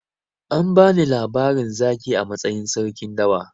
An bani labarin zaki a matsayin sarkin dawa.